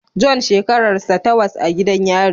John shekararsa tawas a gidan yari